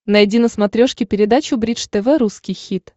найди на смотрешке передачу бридж тв русский хит